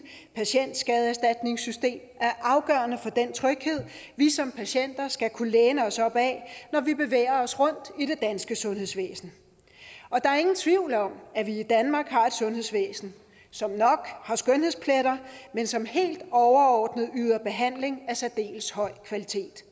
patientskadeerstatningssystem er afgørende for den tryghed vi som patienter skal kunne læne os op ad når vi bevæger os rundt i det danske sundhedsvæsen der er ingen tvivl om at vi i danmark har et sundhedsvæsen som nok har skønhedspletter men som helt overordnet yder behandling af særdeles høj kvalitet